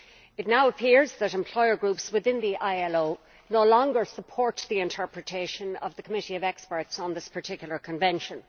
It now appears that employer groups within the ILO no longer support the interpretation of the Committee of Experts on this particular convention.